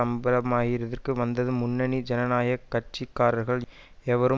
அம்பலமாயிர்திற்கு வந்தது முன்னணி ஜனநாயக கட்சி காரர்கள் எவரும்